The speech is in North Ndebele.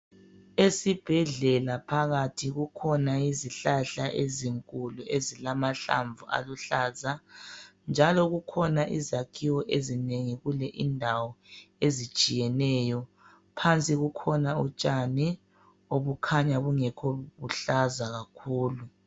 Esibhedlela phakathi kukhona izihlahla ezinkulu ezilamahlamvu aluhlaza, njalo kukhona izakhiwo ezinengi kule indawo ezitshiyeneyo. Phansi kukhona utshani obukhanya bungekho buhlaza kakhulu.